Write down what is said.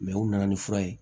u nana ni fura ye